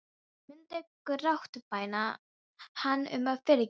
Hún myndi grátbæna hann um að fyrirgefa sér.